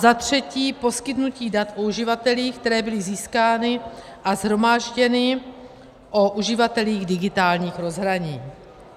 Za třetí, poskytnutí dat o uživatelích, která byly získána a shromážděna o uživatelích digitálních rozhraní.